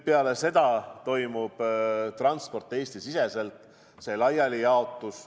Pärast seda toimub transport, laialijaotus, Eesti-siseselt.